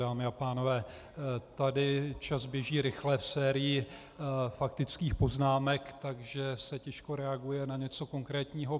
Dámy a pánové, tady čas běží rychle v sérii faktických poznámek, takže se těžko reaguje na něco konkrétního.